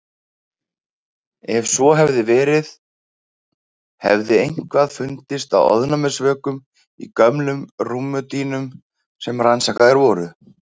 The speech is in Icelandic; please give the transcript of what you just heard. Ef svo hefði verið hefði eitthvað fundist af ofnæmisvökum í gömlum rúmdýnum sem rannsakaðar voru.